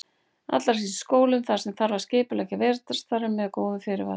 Allra síst í skólum þar sem þarf að skipuleggja vetrarstarfið með góðum fyrirvara.